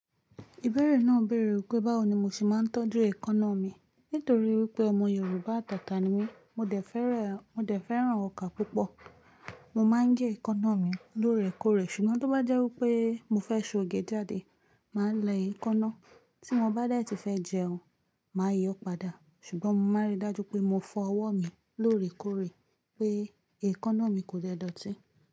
Ìbéèrè náà béèrè wípé báwo ni mo ṣe máa ń tọ́jú èékánná mi. Nítorí wípé ọmọ Yorùbá tàtà ni mí, mo dẹ̀ fẹ́ràn ọkà púpọ̀. Mo máa ń gé èékánná mi lóòrèkóòrè sùgbọ́n tó bá jẹ́ wípé mo fẹ́ ṣòge jáde, màá lẹ èékánná. Tí mo bá dẹ́ẹ̀tì fẹ́ jẹun, màá yọ ọ́ padà, ṣùgbọ́n mo máa rí i dájú pé mo fọ ọwọ́ mi lóòrèkóòrè pé èékánná mi kò dẹ̀ dọ̀tí.